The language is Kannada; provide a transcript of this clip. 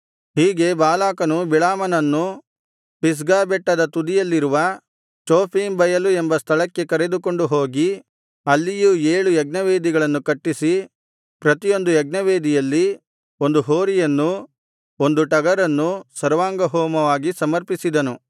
ಹೀಗೆ ಬಾಲಾಕನು ಬಿಳಾಮನನ್ನು ಪಿಸ್ಗಾ ಬೆಟ್ಟದ ತುದಿಯಲ್ಲಿರುವ ಚೋಫೀಮ್ ಬಯಲು ಎಂಬ ಸ್ಥಳಕ್ಕೆ ಕರೆದುಕೊಂಡು ಹೋಗಿ ಅಲ್ಲಿಯೂ ಏಳು ಯಜ್ಞವೇದಿಗಳನ್ನು ಕಟ್ಟಿಸಿ ಪ್ರತಿಯೊಂದು ಯಜ್ಞವೇದಿಯಲ್ಲಿ ಒಂದು ಹೋರಿಯನ್ನೂ ಒಂದು ಟಗರನ್ನೂ ಸರ್ವಾಂಗಹೋಮವಾಗಿ ಸಮರ್ಪಿಸಿದನು